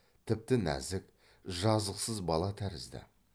тіпті нәзік жазықсыз бала тәрізді